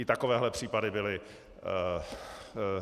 I takovéhle případy byly.